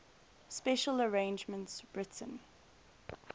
special arrangements written